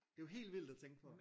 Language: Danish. Det jo helt vildt at tænke på